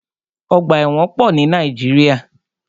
Ọgbà ẹ̀wọ̀n pọ̀ ní Nàíjíríà.